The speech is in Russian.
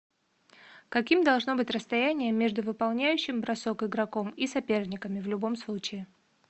каким должно быть расстояние между выполняющим бросок игроком и соперниками в любом случае